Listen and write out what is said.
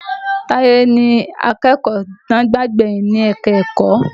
Táyé ni akẹ́kọ̀ọ́ tí wọ́n gbà gbẹ̀yìn sí ẹ̀ka-ẹ̀kọ́